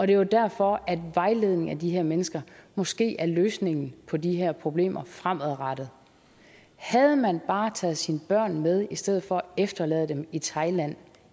det er jo derfor at vejledning af de her mennesker måske er løsningen på de her problemer fremadrettet havde man bare taget sine børn med i stedet for at efterlade dem i thailand